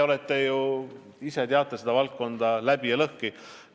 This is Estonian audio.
Noh te tunnete seda valdkonda ju läbi ja lõhki.